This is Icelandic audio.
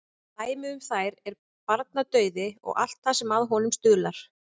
Dæmi um þær er barnadauði og allt það sem að honum stuðlar.